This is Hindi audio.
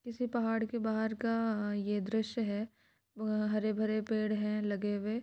किसी पहाड़ के बहार का आ ये द्रश्य है। हरे भरे पेड़ है लगे हुए।